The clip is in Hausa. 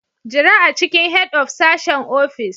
Jira a cikin Head of sashen ofishin.